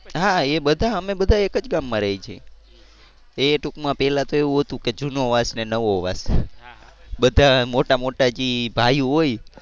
હા એ બધા અમે બધા એક જ ગામમાં રહીએ છીએ. એ ટુંકમાં પહેલા તો એવું હતું કે જૂનો વાસ ને નવો વાસ બધા મોટા મોટા જે ભાઈયું હોય